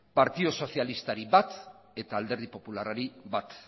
partidu sozialistari bat eta alderdi popularrari bat